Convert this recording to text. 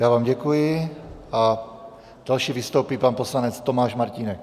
Já vám děkuji a další vystoupí pan poslanec Tomáš Martínek.